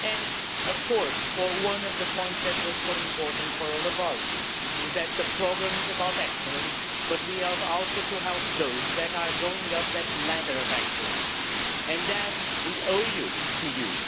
And, of course, one of the points that was so important for all of us is that while the programme is about excellence, we have also to help those that are going up that ladder of excellence, and that we owe to you.